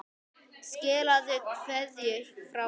Skilaðu kveðju frá mér.